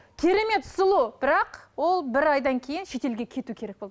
керемет сұлу бірақ ол бір айдан кейін шетелге кетуі керек болды